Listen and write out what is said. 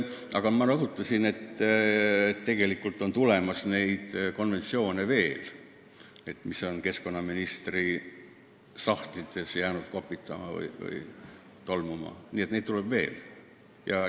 Aga ma rõhutasin, et tegelikult on keskkonnaministri sahtlites veel kopitama või tolmuma jäänud konventsioone, neid tuleb veel.